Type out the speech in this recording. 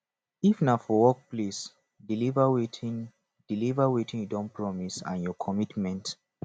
if na for workplace deliver wetin deliver wetin you don promise and your commitment